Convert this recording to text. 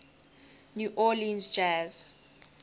new orleans jazz